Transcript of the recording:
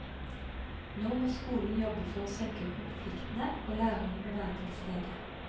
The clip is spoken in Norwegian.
Nå må skolen jobbe for å senke konfliktene, og lærerne må være tilstede.